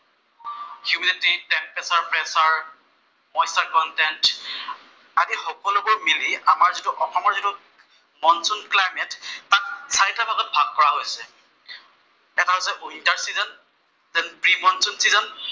মন্চ and content, আদি সকলোবোৰ মিলি আমাৰ যিটো অসমৰ যিটো মনচুন ক্লাইমেত তাক চাৰিটা ভাগত ভাগ কৰা হৈছে। এটা হৈছে winter season, then pre monsoon season